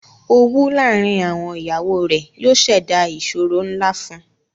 Owù laárìn àwọn iyàwọ rè yóò ṣèdá ìṣòrò nlá fún ù